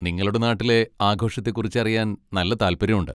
നിങ്ങളുടെ നാട്ടിലെ ആഘോഷത്തെക്കുറിച്ചറിയാൻ നല്ല താല്പര്യമുണ്ട്.